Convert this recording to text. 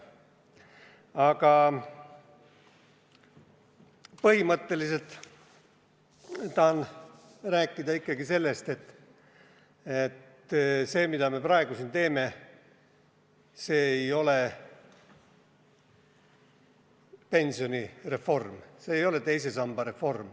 Põhimõtteliselt ma tahan rääkida sellest, et see, mida me praegu siin teeme, see ei ole pensionireform, see ei ole teise samba reform.